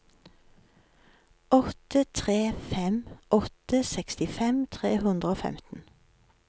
åtte tre fem åtte sekstifem tre hundre og femten